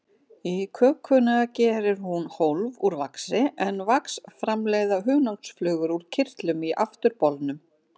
Í kökuna gerir hún hólf úr vaxi, en vax framleiða hunangsflugur úr kirtlum í afturbolnum.